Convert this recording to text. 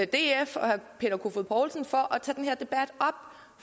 df og herre peter kofod poulsen for